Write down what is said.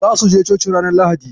Zasu je coci ranar Lahadi.